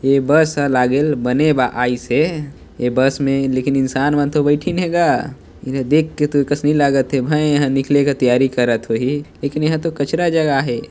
ए bus ह लागेल बने बा ए बस मे लेकिन इंसान मन तो बैठिन हे ग एला देख के तोर कस नई लागत हे भई इहाँ निकले के तैयारी करत होही लेकिन एहा तो कचरा जग आए हे।